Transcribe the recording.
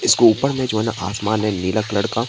इसके ऊपर में जो ना आसमान है नीला कलर का।